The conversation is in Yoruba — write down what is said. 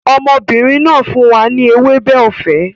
Ọmọbìnrin náà fún wa ní ewébẹ̀ ọ̀fẹ́